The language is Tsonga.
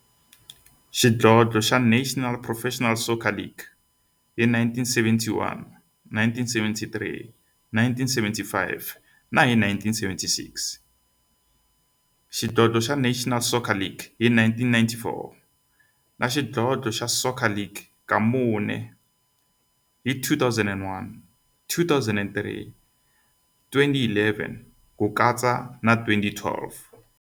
xidlodlo xa National Professional Soccer League hi 1971, 1973, 1975 na 1976, xidlodlo xa National Soccer League hi 1994, na Premier Xidlodlo xa Soccer League ka mune, hi 2001, 2003, 2011 na 2012.